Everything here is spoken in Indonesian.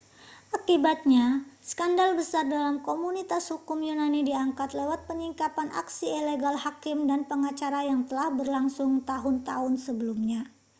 akibatnya skandal besar dalam komunitas hukum yunani diangkat lewat penyingkapan aksi ilegal hakim dan pengacara yang telah berlangsung tahun-tahun sebelumnya